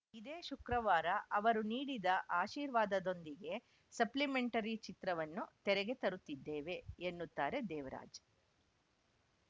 ಇದೇ ಶುಕ್ರವಾರ ಅವರು ನೀಡಿದ ಆಶೀರ್ವಾದದೊಂದಿಗೆ ಸೆಪ್ಲಿಮೆಂಟರಿ ಚಿತ್ರವನ್ನು ತೆರೆಗೆ ತರುತ್ತಿದ್ದೇವೆ ಎನ್ನುತ್ತಾರೆ ದೇವರಾಜ್‌